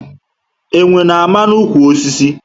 Enwe na ama na ụkwụ osisi